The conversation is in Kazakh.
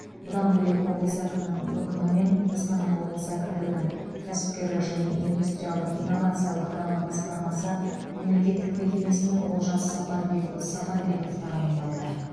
бұдан бөлек облыс әкімінің өкімімен қостанай облысы әкімдігінің кәсіпкерлік және индустриалдық инновациялық даму басқармасы мемлекеттік мекемесіне олжас сапарбекұлы сапарбеков тағайындалды